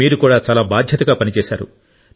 మీరు కూడా చాలా బాధ్యతగా పని చేశారు